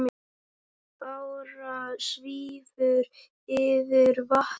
Bára svífur yfir vatnið.